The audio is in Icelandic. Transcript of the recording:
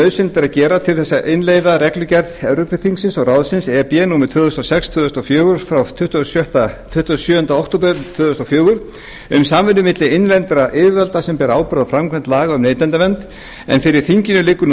nauðsynlegt er að gera til að innleiða reglugerð evrópuþingsins og ráðsins númer tvö þúsund og sex tvö þúsund og fjögur frá tuttugasta og sjöunda október tvö þúsund og fjögur um samvinnu milli innlendra yfirvalda sem bera ábyrgð á framkvæmd laga um neytendavernd en fyrir þinginu liggur nú